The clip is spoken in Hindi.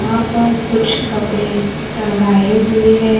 यहाँ पर कुछ कपड़े टंगाये हुए हैं।